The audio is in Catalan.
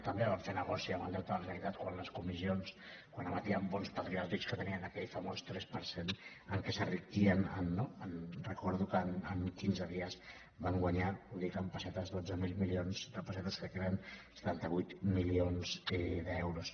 també van fer negoci amb el deute de la generalitat quan emetien bons patriòtics que te·nien aquell famós tres per cent amb què s’enriquien no recordo que en quinze dies van guanyar ho dic en pessetes dotze mil milions de pessetes crec que eren setanta vuit milions d’euros